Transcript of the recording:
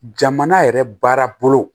Jamana yɛrɛ baarabolo